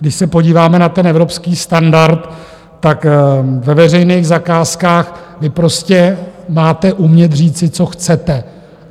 Když se podíváme na ten evropský standard, tak ve veřejných zakázkách vy prostě máte umět říci, co chcete.